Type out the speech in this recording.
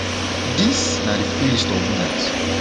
dis na di full list of winners